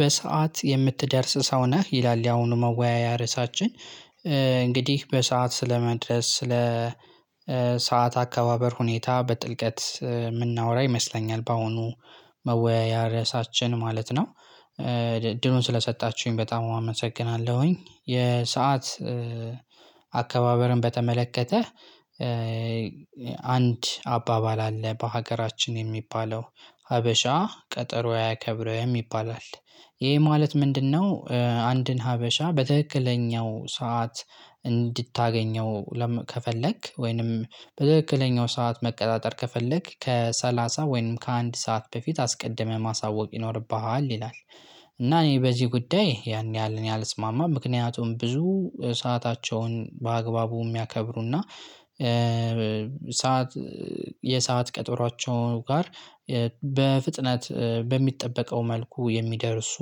በሰአት የምትደርስ ሰው ነህ ይላል ያሁኑ መወያያ ርዕሳችን እንግዲህ በሰአት ስለመድረስ ስለ ሰዓት አካባበር ሁኔታ በጥልቀት የምናወራ ይመስለኛል በአሁኑ መወያያ ርዕሳችን ማለት ነው። እድሉን ስለሰጣችሁኝ በጣም አመሰግናለሁኝ። የሰዓት አከባበርን በተመለከተ አንድ አባባል አለ በሀገራችን የሚባለው ሀበሻ ቀጠሮ አያከብረው ይባላል። ይሄ ማለት ምንድነው? አንድን ሀበሻ በትክክለኛው ሰዓት እንድታገኘው ከፈለክ ወይንም በትክክለኛው ሰዓት መቀጣጠር ከፈለክ ከሰላሳ ወይንም ከአንድ ሰዓት በፊት አስቀድመህ ማሳወቅ ይኖርብሃል ይላል። እና እኔ በዚህ ጉዳይ ያን ያህል እኔ አልስማማም ምክንያቱም ብዙ ሰአታቸውን በአግባቡ የሚያከብሩና ሰዓት የሰዓት ቀጠሮአቸው ጋር በፍጥነት በሚጠበቀው መልኩ የሚደርሱ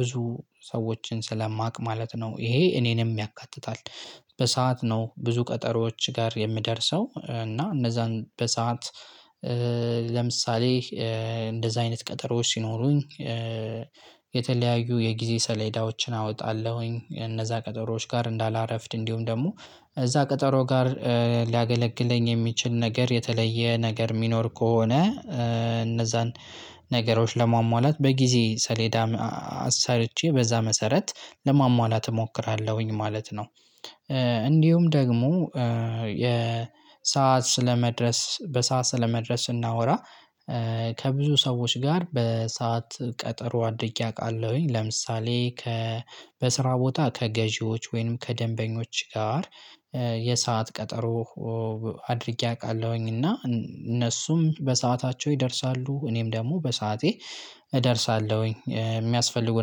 ብዙ ሰዎችን ስለማቅ ማለት ነው ይሄ እኔንም ያካትታል። በሰአት ነው ብዙ ቀጠሮዎች ጋር የምደርሰው እና እነዛን በሰአት ለምሳሌ እንደዛ አይነት ቀጠሮዎች ሲኖሩኝ። የተለያዩ የጊዜ ሰሌዳዎችን አወጣለሁኝ እነዛ ቀጠሮዎች ጋር እንዳላረፍድ እንዲሁም ደግሞ እዛ ቀጠሮ ጋር ሊያገለግለኝ የሚችል ነገር የተለየ ነገር የሚኖር ከሆነ እነዛን ነገሮች ለማሟላት በጊዜ ሰሌዳ አሰርቼ በዛ መሰረት ለማሟላት እሞክራለሁኝ ማለት ነው። እንዲሁም ደግሞ የሰዓት ስለመድረስ በሰአት ስለመድረስ ስናወራ። ከብዙ ሰዎች ጋር በሰአት ቀጠሮ አድርጌ አውቃለሁኝ። ለምሳሌ ከ በስራ ቦታ ከገዢዎች ወይንም ከደንበኞች ጋር የሰዓት ቀጠሮ አድርጌ አውቃለሁኝ እና እነሱም በሰአታቸው ይደርሳሉ እኔም ደግሞ በሰአቴ እደርሳለሁኝ የሚያስፈልጉ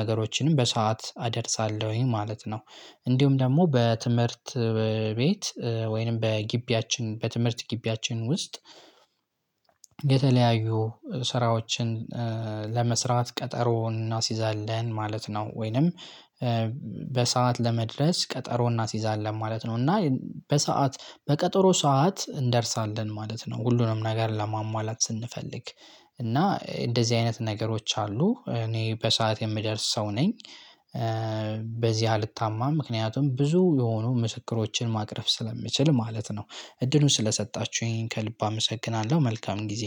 ነገሮችንም በሰአት አደርሳለሁኝ ማለት ነው። እንዲሁም ደግሞ በትምህርት ቤት ወይንም በግቢያችን በትምህርት ግቢያችን ውስጥ። የተለያዩ ስራዎችን ለመስራት ቀጠሮ እናስይዛለን ማለት ነው። ወይንም በሰአት ለመድረስ ቀጠሮ እናስይዛለን ማለት ነው። እና በሰአት በቀጠሮ ሰዓት እንደርሳለን ማለት ነው። ሁሉንም ነገር ለማሟላት ስንፈልግ እና እንደዚህ አይነት ነገሮች አሉ እኔ በሰአት የምደርስ ሰው ነኝ። በዚህ አልታማ ምክንያቱም ብዙ የሆኑ ምስክሮችን ማቅረብ ስለምችል ማለት ነው። እድሉን ስለሰጣችሁኝ ከልብ አመሰግናለሁ መልካም ጊዜ